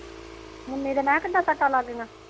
ਮੁੰਨੀ ਦੇ ਮੈ ਕਿਹਾ ਕਿਦਾ ਸੱਟਾ ਲੱਗ ਗੀਆਂ